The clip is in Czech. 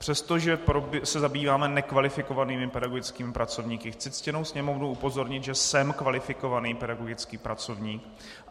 Přestože se zabýváme nekvalifikovanými pedagogickými pracovníky, chci ctěnou Sněmovnu upozornit, že jsem kvalifikovaný pedagogický pracovník.